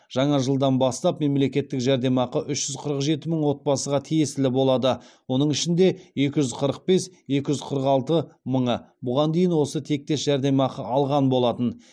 жаңа жылдан бастап мемлекеттік жәрдемақы үш жүз қырық жеті мың отбасыға тиесілі болады оның ішінде екі жүз қырық бес екі жүз қырық алты мыңы бұған дейін осы тектес жәрдемақы алған болатын